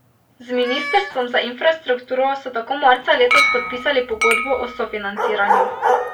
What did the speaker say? Z ministrstvom za infrastrukturo so tako marca letos podpisali pogodbo o sofinanciranju.